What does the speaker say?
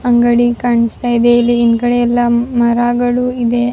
ಅಂಗಡಿ ಕಾಣಿಸ್ತಾ ಇದೆ ಇಲ್ಲಿ ಹಿಂದುಗಡೆ ಎಲ್ಲ ಮರಗಳು ಇದೆ --